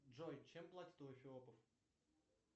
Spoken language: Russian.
джой чем платят у эфиопов